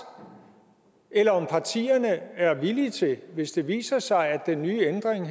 eller om partierne er villige til hvis det viser sig at den nye ændring